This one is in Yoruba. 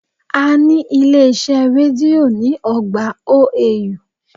A ní ilé iṣẹ́ rédío ní ọgbà OAU